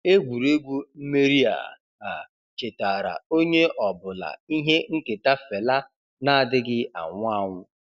Egwuregwu mmeri a a chetaara onye ọ bụla ihe nketa Fela na-adịghị anwụ anwụ.